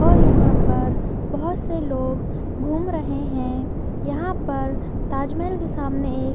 और यहाँ पर बहोत से लोग घूम रहे हैं यहाँ पर ताज महल के सामने एक --